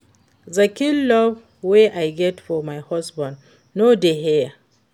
The kin love wey I get for my husband no dey here